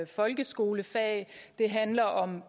folkeskolefag det handler om